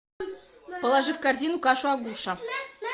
положи в корзину кашу агуша